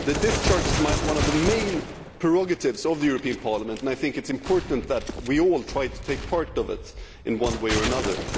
Discharge is one of the main prerogatives of the European Parliament, and it is important that we all try to take part in it in one way or another.